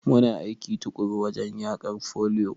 Muna aiki tuƙuru wajen yaƙar foliyo.